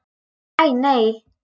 Æ, nei.